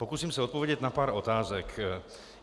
Pokusím se odpovědět na pár otázek.